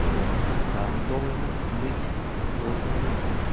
то он и там должен быть и тут должен быть